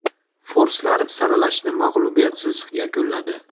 Forslar saralashni mag‘lubiyatsiz yakunladi.